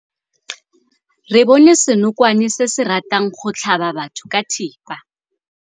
Re bone senokwane se se ratang go tlhaba batho ka thipa.